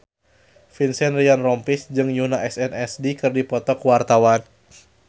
Vincent Ryan Rompies jeung Yoona SNSD keur dipoto ku wartawan